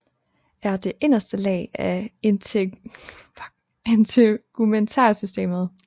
Er det inderste lag af integumentærsystemet